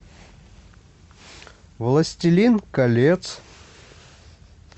властелин колец